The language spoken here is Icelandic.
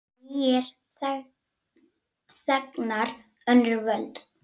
Nýir þegnar, önnur völd.